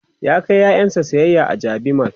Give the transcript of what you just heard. ya kai ƴaƴansa sayayya a jabi mall